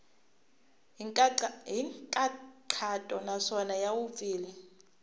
hi nkhaqato naswona ya vupfile